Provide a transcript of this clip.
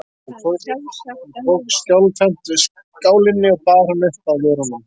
Hún tók skjálfhent við skálinni og bar hana upp að vörunum.